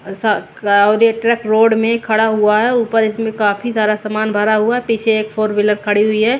और सा का आउर एक ट्रक रोड में खड़ा हुआ है ऊपर इसमें काफ़ी सारा सामान भरा हुआ है पीछे एक फोर व्हीलर खड़ी हुई है।